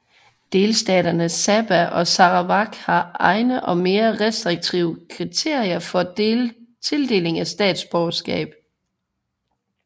Delstaterne Sabah og Sarawak har egne og mere restriktive kriterier for tildeling af statsborgerskab